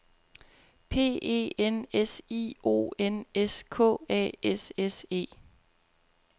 P E N S I O N S K A S S E